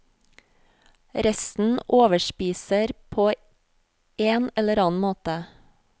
Resten overspiser på en eller annen måte.